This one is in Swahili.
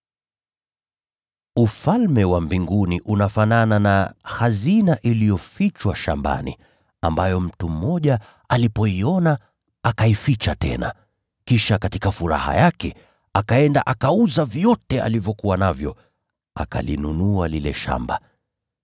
“Ufalme wa Mbinguni unafanana na hazina iliyofichwa shambani, ambayo mtu mmoja alipoiona akaificha tena. Kisha katika furaha yake, akaenda akauza vyote alivyokuwa navyo, akalinunua lile shamba.”